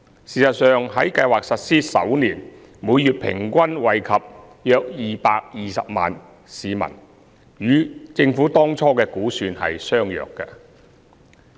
事實上，在計劃實施首年，每月平均惠及約220萬名市民，與政府當初的估算相若。